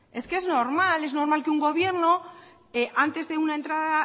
es que es normal es normal que un gobierno antes de una entrada